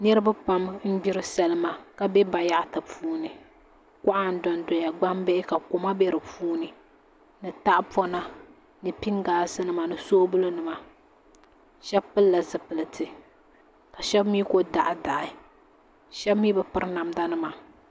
Niraba pam n gbiri salima ka bɛ bayaɣati puuni kuɣa n dondoya gbambihi ka koma bɛ di puuni ni tahapona ni pingaas nima ni soobuli nima shab pilila zipiliti ka shab mii ku daɣadaɣa shab mii bi piri namda nima